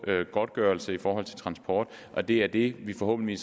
godtgørelse for transport og det er det vi forhåbentlig